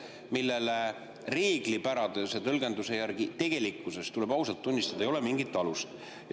Sellel reeglipärase tõlgenduse järgi, tuleb ausalt tunnistada, ei ole mingit alust.